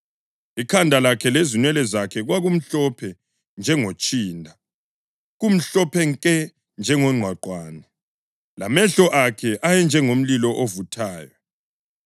Ikhanda lakhe lezinwele zakhe kwakumhlophe njengotshinda, kumhlophe nke njengongqwaqwane, lamehlo akhe ayenjengomlilo ovuthayo.